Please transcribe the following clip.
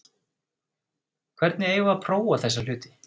Hvernig eigum við að prófa þessa hluti?